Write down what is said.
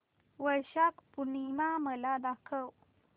वैशाख पूर्णिमा मला दाखव